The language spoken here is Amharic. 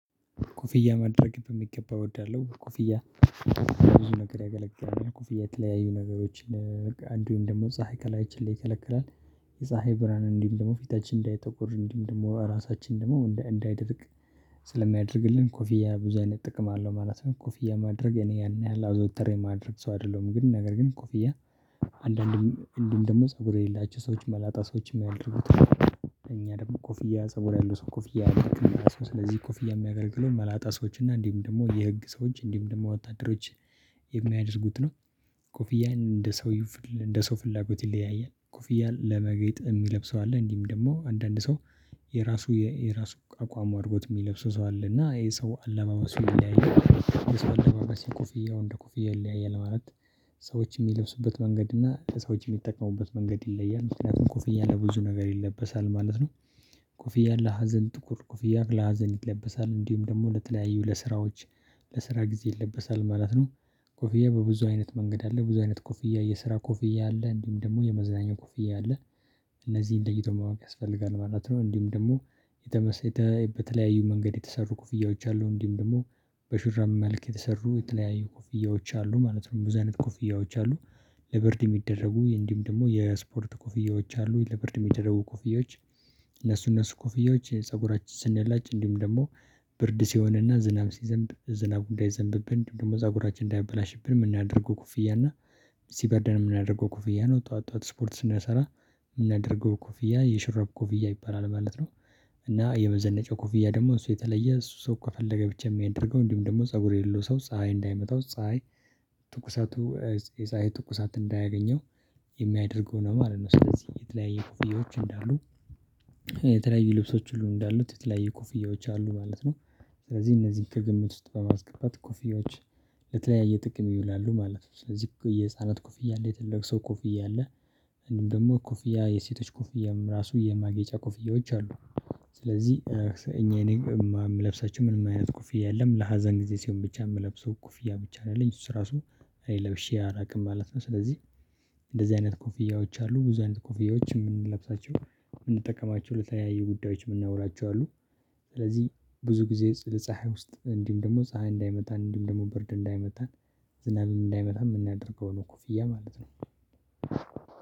ኮፍያ ማድረግ በሚገባ እወዳለሁ። ኮፍያ ይሄን ነገር ያገለገለ ኮፊያ የተለያዩ ነገሮችን በቃ አንዲሁም ደግሞ ፀሀይ ከላያችን ላይ ይከለክላል፣ የፀሀይ ብርሃን እንዲሁም ደግሞ ፊታችን እንዳይተቆር፣ እንዲሁም ደግሞ ራሳችን ደግሞ እንዳይደርቅ ስለሚያደርግልን ኮፊያ ብዙ አይነት ጥቅም አለው ማለት ነው። ኮፍያ ማድረግ እኔ ያን ያህል አዘውትሬ የማድረግ ሰው አይደለሁም ግን ነገር ግን ኮፍያ አንዳንዴ አንዲሁም ደግሞ ፀጉር የሌላቸው ሰዎችን መላጣ ሰዎችን የሚያደርጉት ነው። እኛ ደግሞ ኮፍያ ፀጉር ያለው ሰው ኮፍያ አያደርግም። ስለዚህ ኮፍያ የሚያገልግለው መላጣ ሰዎች እና እንዲሁም፣ ደግሞ የህግ ሰዎች፣ እንዲሁም ደግሞ ወጣት ወታደሮች የሚያደርጉት ነው ኮፍያን እንደ ሰውዩ እንደ ሰው ፍላጎት ይለያያል። ኮፍያ ለማጌጥ የሚለብሰው አለ እንዲህም ደግሞ አንዳንድ ሰው የራሱ የራሱ አቋሙ አድርጎት የሚለብሰው ሰው አለ። እና ይሄ ሰው አለባበሱ ይለያያል። ይሄ ሰው አለማመሱ ኮፍያው እንደ እንደኮፍያ ይለያያል ማለት ሰዎች የሚለብሱበት መንገድ እና ሰዎች የሚጠቀሙበት መንገድ ይለያል። ምክንያቱም ኮፍያ ለብዙ ነገር ይለበሳል ማለት ነው። ኮፍያ ለሀዘን ጥቁር ኮፍያ ለሀዘን ይለበሳል። እንዲሁም ደግሞ ለተለያዩ ለስራዎች ለስራ ጊዜ ይለበሳል ማለት ነው። ኮፊዬ በብዙ አይነት መንገድ አለ። ብዙ አይነት ኮፊዬ የስራ ኮፊዬ አለ፣ እንዲሁም ደግሞ የመዝናኛ ኮፊዬ አለ። እነዚህን ለይቶ ማወቅ ያስፈልጋል ማለት ነው እንዲሁም ደግሞ የተመሰለ የተመሰረተ በተለያዩ መንገድ የተሰሩ ኮፍያዎች አሉ። እንዲሁም ደግሞ በሹራብ መልክ የተሰሩ የተለያዩ ኮፍያዎች አሉ ማለት ነው። ብዙ አይነት ኮፍያዎች አሉ። ለብርድ የሚደረጉ፣ እንዲሁም ደግሞ የስፖርት ኮፍያዎች አሉ። ለብርድ የሚደረጉ ኮፍያዎች እነሱ እነሱ ኮፍያዎች ፀጉራችን ስንላጭ እንዲሁም ደግሞ ብርድ ሲሆንና ዝናብ ሲዘንብ ዝናብ እንዳይዘንብብን ደግሞ ፀጉራችን እንዳይበላሽብን የምናደርገው ኩፍያ እና ሲበርደን የምናደርገው ኮፍያ ነው። ጠዋት ጠዋት ስፖርት ስንሰራ የምናደርገው ኩፍያ የሽራብ ኩፍያ ይባላል ማለት ነው። እና የመዘነጫ ኮፊያ ደግሞ እሱ የተለየ ሰው ከፈለገ ብቻ የሚያደርገው እንዲሁም ደግሞ ፀጉር የለው ሰው ፀሀይ እንዳይመጣው ፀሀይ ትኩሳቱ የፀሀይ ትኩሳት እንዳያገኘው የሚያደርገው ነው ማለት ነው። ስለዚህ የተለያየ ኮፍያዎች እንዳሉ የተለያየ ልብሶች ሁሉ እንዳሉት የተለያዩ ኮፍያዎች አሉ ማለት ነው። ስለዚህ እነዚህን ከግምት ውስጥ በማስገባት ኮፍያዎች ለተለያየ ጥቅም ይውላሉ ማለት ነው። ስለዚህ የህፃናት ኮፍያ አለ፣ የትልቀ ሰው ኮፍያ አለ እንዲሁም ደግሞ ኮፍያ የሴቶች ኮፍያዎች ራሱ የማጌጫ ኮፍያዎች አሉ። ስለዚህ እኔ የምለብሳቸው ምንም አይነት ኮፍያ የለም። ለሀዘን ጊዜ ሲሆን ብቻ የምለብሰው ኮፍያ ብቻ ያለኝ እሱ እራሱ ለብሼ አላቅም ማለት ነው። ስለዚህ እንደዚህ አይነት ኮፍያዎች አሉ። ብዙ አይነት ኮፍያዎች የምንለብሳቸው የምንጠቀማቸው ለተለያየ ጉዳዮች የምናውላቸው አሉ ስለዚህ ብዙ ጊዜ ለፀሀይ ውስጥ፣ እንዲሁም ደግሞ ፀሀይ እንዳይመታን፣ እንዲሁም ደግሞ በርድ እንዳይመታን ዝናብ እንዳይመታ የምናደርገው ነው ኮፍያ ማለት ነው።